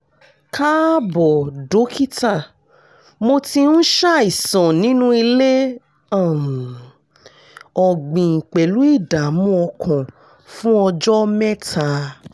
káàbọ̀ dókítà mo ti ń ṣàìsàn nínú ilé um ọ̀gbìn pẹ̀lú ìdààmú ọkàn fún ọjọ́ mẹ́ta